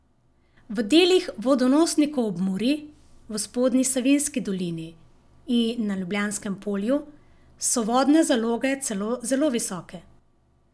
V delih vodonosnikov ob Muri, v Spodnji Savinjski dolini in na Ljubljanskem polju so vodne zaloge celo zelo visoke.